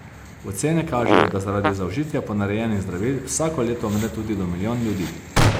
Ocene kažejo, da zaradi zaužitja ponarejenih zdravil vsako leto umre tudi do milijon ljudi.